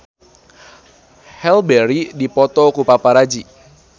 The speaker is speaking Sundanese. Halle Berry dipoto ku paparazi